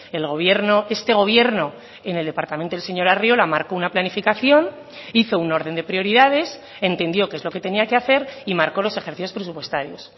el gobierno este gobierno en el departamento del señor arriola marcó una planificación hizo un orden de prioridades entendió qué es lo que tenía que hacer y marcó los ejercicios presupuestarios